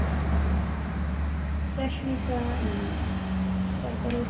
রশ্মিকা তারপরে